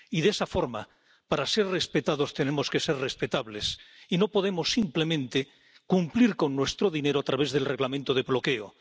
Y de esa forma, para ser respetados, tenemos que ser respetables y no podemos simplemente cumplir con nuestro dinero a través del Reglamento de bloqueo.